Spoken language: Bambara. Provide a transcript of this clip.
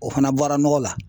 O fana bɔra nɔgɔ la.